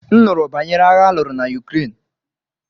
M nụrụ banyere agha aluru na Ukraine.